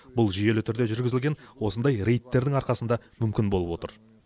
бұл жүйелі түрде жүргізілген осындай рейдтердің арқасында мүмкін болып отыр